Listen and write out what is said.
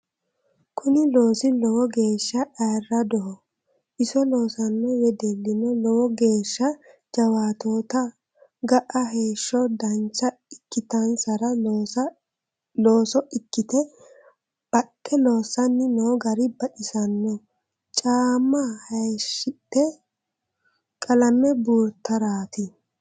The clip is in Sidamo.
Kuni loosi lowo geeshsha ayirradoho iso loosano wedellino lowo geeshsha jawaatottaho ga"a heeshsho dancha ikkittansara looso ikkite baxe loosani no gari baxisinoe caama hayishite qalame buurtarati.